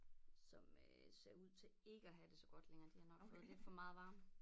Som øh ser ud til ikke at have det så godt længere de har nok fået lidt for meget varme